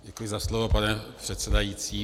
Děkuji za slovo, pane předsedající.